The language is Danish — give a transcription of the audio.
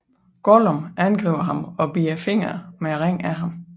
Gollum angriber ham og bider fingeren med ringen af ham